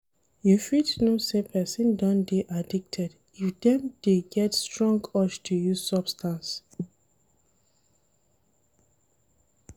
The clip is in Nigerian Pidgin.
You fit know sey person don dey addicted if dem dey get strong urge to use substance